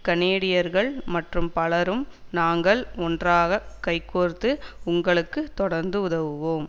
கனேடியர்கள் மற்றும் பலரும் நாங்கள் ஒன்றாக கை கோர்த்து உங்களுக்கு தொடர்ந்து உதவுவோம்